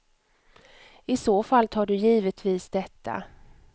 I så fall tar du givetvis detta.